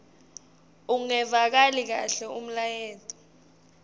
ungevakali kahle umlayeto